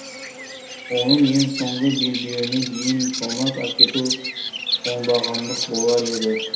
оның ең соңғы белбеуіне дейін тонап әкету оңбағандық болар еді